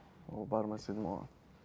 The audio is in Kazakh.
ол бармас едім оған